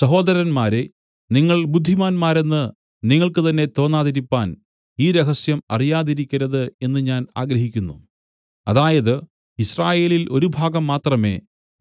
സഹോദരന്മാരേ നിങ്ങൾ ബുദ്ധിമാന്മാരെന്നു നിങ്ങൾക്ക് തന്നേ തോന്നാതിരിപ്പാൻ ഈ രഹസ്യം അറിയാതിരിക്കരുത് എന്നു ഞാൻ ആഗ്രഹിക്കുന്നു അതായത് യിസ്രായേലിൽ ഒരു ഭാഗം മാത്രമേ